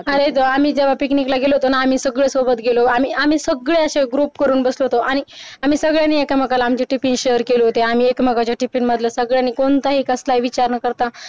अरे जेव्हा आम्ही picnic ला गेलो होतोना आम्ही सगळे सोबत गेलो आम्ही सगळे असे ग्रुप करून बसलो होतो आणिआम्ही सगळ्यांनी एकमेकाला आमचे tiffin शेअर केलं होत आम्ही एकमेकांच्या tiffin मधले सगळ्यांनी कोणताही कसलाही विचार न करता